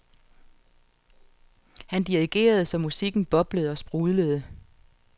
Han dirigerede så musikken boblede og sprudlede.